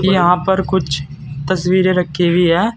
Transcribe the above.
यहां पर कुछ तस्वीरें रखी हुई है।